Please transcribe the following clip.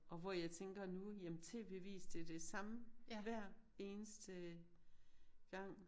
Og hvor jeg tænker nu jamen tv avis det det samme hver eneste gang